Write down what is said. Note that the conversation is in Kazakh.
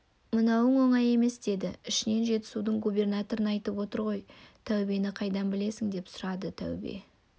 мынауың оңай емес деді ішінен жетісудың губернаторын айтып отыр ғой таубені қайдан білесің деп сұрады тәубе